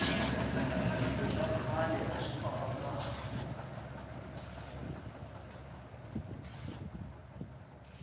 swilo swa khale aswi famba kahle